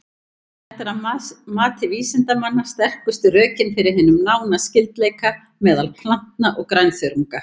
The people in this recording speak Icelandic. Þetta er að mati vísindamanna sterkustu rökin fyrir hinum nána skyldleika meðal plantna og grænþörunga.